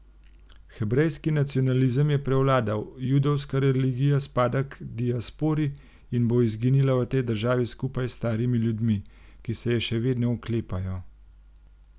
Hebrejski nacionalizem je prevladal, judovska religija spada k diaspori in bo izginila v tej državi skupaj s starimi ljudmi, ki se je še vedno oklepajo.